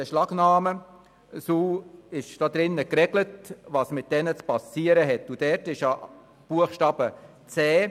Es ist im Artikel geregelt, was mit Gegenständen zu passieren hat, die von der Polizei beschlagnahmt werden.